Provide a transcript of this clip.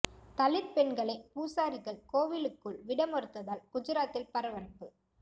தலித் பெண்களை பூசாரிகள் கோவிலுக்குள் விட மறுத்ததால் குஜராத்தில் பரபரப்பு